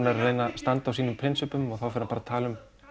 er að reyna að standa á sínum prinsippum og þá fer hann bara að tala um